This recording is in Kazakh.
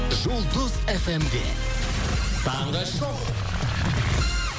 жұлдыз эф эм де таңғы шоу